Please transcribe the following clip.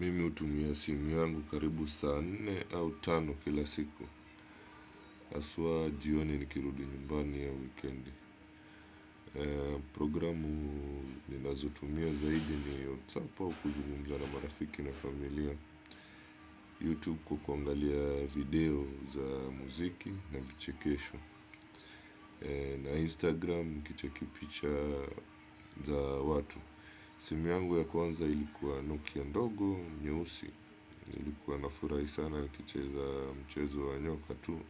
Mimi utumia simu yangu karibu saa nne au tano kila siku. Haswa jioni nikirudi nyumbani au wikendi. Programu ninazotumia zaidi ni yo Sapa ukuzungumza na marafiki na familia. Youtube kukuangalia video za muziki na vichekesho. Na Instagram nikicheki picha za watu. Simu yangu ya kwanza ilikuwa Nokia ndogo, nyeusi. Nilikuwa nafurah sana nikicheza mchezo wa nyoka tu.